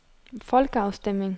folkeafstemning